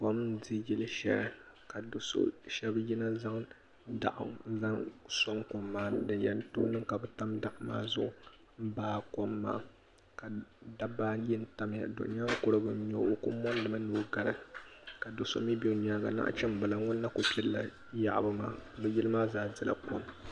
kom n di yili shɛli ka do shɛbi yina n zaŋ daɣu n zaŋ soŋ kom maa ni din yan too niŋ kabi tam daɣu maa zuɣu n baa kom dabbaa ayi n tam ya do nyaan kurigu nyɛ o o kuli mori mi ni o gari ka doso mi be o nyaanga naɣachimbila nyun na kuli pilla yaɣabu maa bi yili maa zaa dila kom.